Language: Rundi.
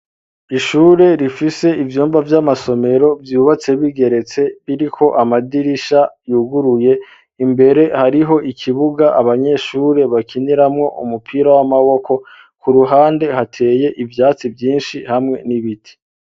Ishure rifise ivyumba vy'amasomero vyubatse bigeretse biriko amadirisha yuguruye imbere hariho ikibuga abanyeshure bakiniramwo umupira w'amaboko ku ruhande hateye ivyatsi vyinshi hamwe n'ibiti